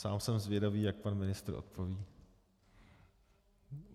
Sám jsem zvědavý, jak pan ministr odpoví.